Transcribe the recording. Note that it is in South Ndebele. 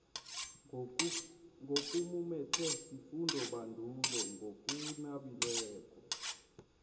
nokumumethwe sifundobandulo ngokunabileko